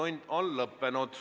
Infotund on lõppenud.